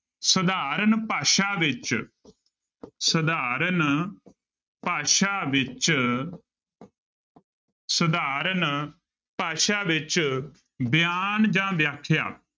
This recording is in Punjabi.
ਸਧਾਰਨ ਭਾਸ਼ਾ ਵਿੱਚ ਸਧਾਰਨ ਭਾਸ਼ਾ ਵਿੱਚ ਸਧਾਰਨ ਭਾਸ਼ਾ ਵਿੱਚ ਬਿਆਨ ਜਾਂ ਵਿਆਖਿਆ।